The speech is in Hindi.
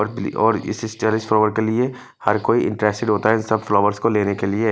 और इस टेरेस फ्लावर के लिए हर कोई इंटरेस्टेड होता है इन सब फ्लावर्स को लेने के लिए।